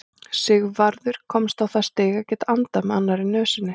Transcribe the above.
Sigvarður komst á það stig að geta andað með annarri nösinni.